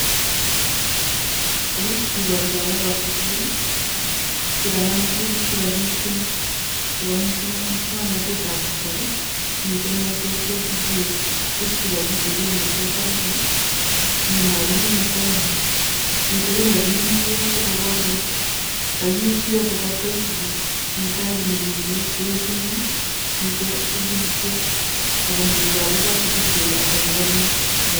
Yu kiporu lagok ab sugul chekanam tuguk chekakiipchin chepo musang'natet ab kasari, mite meset yotok, mite kiit chekagitepee meet parak, mi mwalimuinik tapan yo', mite kiy nekegiming'ji yo' sikopar kole kagiip kiyotok otkoit sugul, mi tangit nekiunee keut eng' yo', mite sugulit yo' akomii lagok ab sugul kele ata chekanyor.